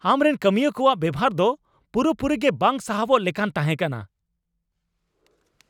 ᱟᱢᱨᱮᱱ ᱠᱟᱹᱢᱤᱭᱟᱹ ᱠᱚᱣᱟᱜ ᱵᱮᱣᱦᱟᱨ ᱫᱚ ᱯᱩᱨᱟᱹᱯᱩᱨᱤ ᱜᱮ ᱵᱟᱝ ᱥᱟᱦᱟᱣᱚᱜ ᱞᱮᱞᱟᱱ ᱛᱟᱦᱮᱸ ᱠᱟᱱᱟ ᱾